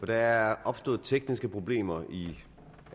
der er opstået tekniske problemer i